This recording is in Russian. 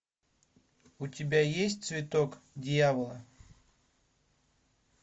у тебя есть цветок дьявола